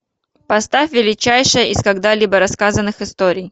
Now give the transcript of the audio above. поставь величайшая из когда либо рассказанных историй